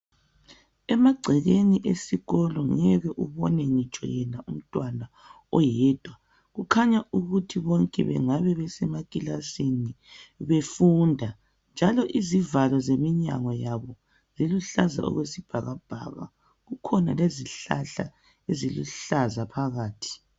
Emagcekeni esikolo ngeke ubone ngitsho umuntu oyedwa kukhanya ukuthi bonke bengabe besemakilasini befunda njalo izivalo zeminyango yabo eziluhlaza okwesibhakabhaka. Kukhona lezihlahla eziluhlaza phakathi.